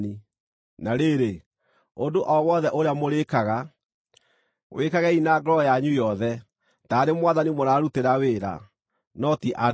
Na rĩrĩ, ũndũ o wothe ũrĩa mũrĩĩkaga, wĩkagei na ngoro yanyu yothe, taarĩ Mwathani mũrarutĩra wĩra, no ti andũ,